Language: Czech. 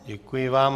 Děkuji vám.